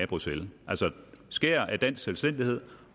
bruxelles altså skærer af dansk selvstændighed